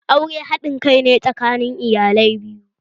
Aure haɗin kai ne tsakanin iyalai biyu